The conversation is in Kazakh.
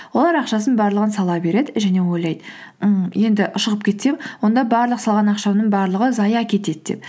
олар ақшасының барлығын сала береді және ойлайды ммм енді шығып кетсем онда барлық салған ақшамның барлығы зая кетеді деп